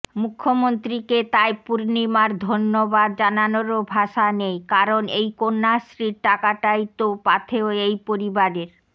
মুখ্যমন্ত্রীকে তাই পূর্ণিমার ধন্যবাদ জানানোরও ভাষা নেই কারণ এই কন্যাশ্রীর টাকাটাই তো পাথেয় এই পরিবারের